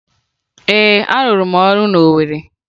Ee, arụrụ m ọrụ na Owere